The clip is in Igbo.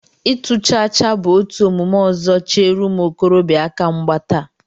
Ịtụ chaachaa bụ otu omume ọzọ chere ụmụ okorobịa aka mgba taa